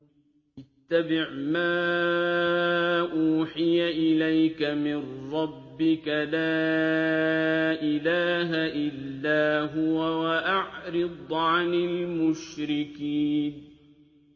اتَّبِعْ مَا أُوحِيَ إِلَيْكَ مِن رَّبِّكَ ۖ لَا إِلَٰهَ إِلَّا هُوَ ۖ وَأَعْرِضْ عَنِ الْمُشْرِكِينَ